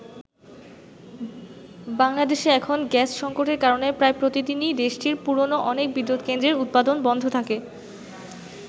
বাংলাদেশে এখন গ্যাস সংকটের কারণে প্রায় প্রতিদিনই দেশটির পুরনো অনেক বিদ্যুৎকেন্দ্রের উৎপাদন বন্ধ থাকে।